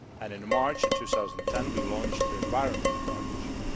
In March 2010 we launched the Environment Partnership.